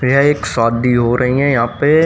यह एक शादी हो रही है यहां पे--